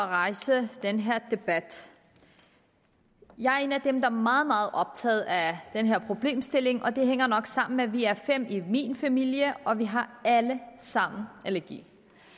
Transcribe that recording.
at rejse den her debat jeg er en af dem der er meget meget optaget af den her problemstilling det hænger nok sammen med at vi er fem i min familie og vi har alle sammen allergi